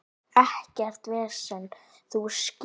Ekkert vesen, þú skilur.